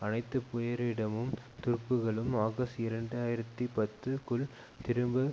அனைத்து பேரிடமும் துருப்புக்களும் ஆகஸ்ட் இரண்டு ஆயிரத்தி பத்துக்குள் திரும்ப